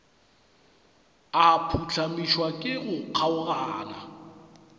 a phuhlamišwa ke go kgaogana